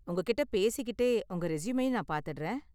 உங்ககிட்ட பேசிக்கிட்டே உங்க ரெஸ்யூமையும் நான் பார்த்திடுறேன்.